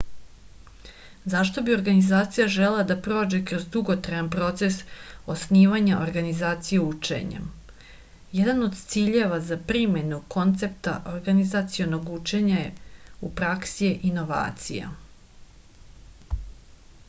zašto bi organizacija želela da prođe kroz dugotrajan proces osnivanja organizacije učenja jedan od ciljeva za primenu koncepata organizacionog učenja u praksi je inovacija